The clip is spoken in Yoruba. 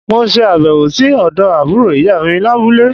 Mo se àbèwò sí òdo àbúrò ìyá mi lábúlé